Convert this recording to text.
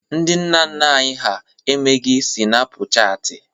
Ndị nna nna anyị ha emeghi sịnapụ chaatị.